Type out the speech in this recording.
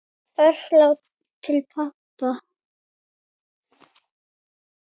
Örfá orð til pabba.